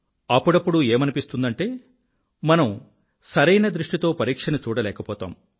అప్పుడప్పుడు ఏమనిపిస్తుందంటే మనం సరైన దృష్టితో పరీక్షని చూడలేకపోతాం